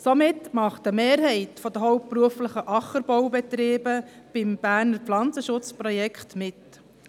Somit macht eine Mehrheit der hauptberuflich geführten Ackerbaubetriebe beim Berner Pflanzenschutzprojekt mit.